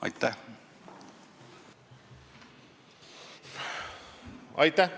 Aitäh!